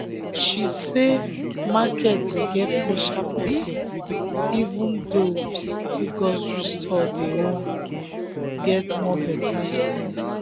she say market dey get fresher pepper even though say grocery store own dey get more better size.